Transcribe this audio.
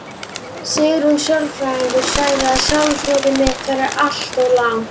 Sigrún sálfræðingur sagði að sjálfsmat mitt væri allt of lágt.